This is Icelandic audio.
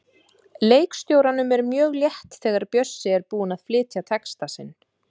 Leikstjóranum er mjög létt þegar Bjössi er búinn að flytja texta sinn.